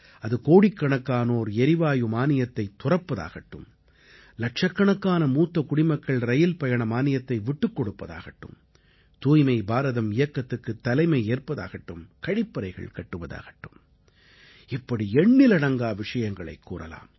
அது கோடிக்கணக்கானோர் எரிவாயு மானியத்தைத் துறப்பதாகட்டும் இலட்சக்கணக்கான மூத்த குடிமக்கள் ரயில்பயண மானியத்தை விட்டுக் கொடுப்பதாகட்டும் தூய்மை பாரதம் இயக்கத்துக்குத் தலைமை ஏற்பதாகட்டும் கழிப்பறைகள் கட்டுவதாகட்டும் இப்படி எண்ணிலடங்கா விஷயங்களைக் கூறலாம்